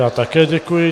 Já také děkuji.